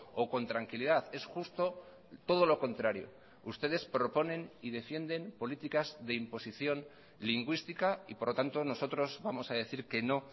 o con tranquilidad es justo todo lo contrario ustedes proponen y defienden políticas de imposición lingüística y por lo tanto nosotros vamos a decir que no